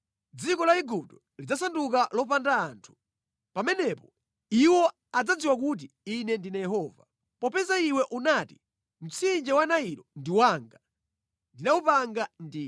Dziko la Igupto lidzasanduka lopanda anthu. Pamenepo iwo adzadziwa kuti Ine ndine Yehova. “ ‘Popeza iwe unati, ‘Mtsinje wa Nailo ndi wanga; ndinawupanga ndine,’